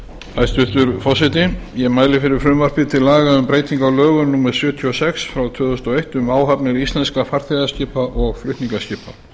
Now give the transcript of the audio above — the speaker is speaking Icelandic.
hæstvirtur forseti ég mæli fyrir frumvarpi til laga um breytingu á lögum númer sjötíu og sex tvö þúsund og eitt um áhafnir íslenskra farþegaskipa og flutningaskipa